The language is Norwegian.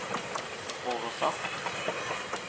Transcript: oversatt